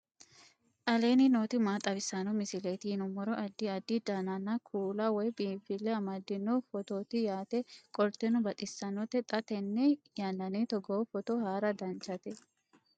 aleenni nooti maa xawisanno misileeti yinummoro addi addi dananna kuula woy biinfille amaddino footooti yaate qoltenno baxissannote xa tenne yannanni togoo footo haara danchate